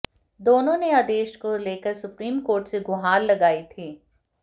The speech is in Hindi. दोनों ने आदेश को लेकर सुप्रीम कोर्ट से गुहार लगाई थी